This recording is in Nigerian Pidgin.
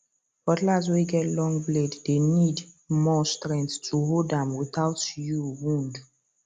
cutlass way get long blade dey need more strength to hold am without you wound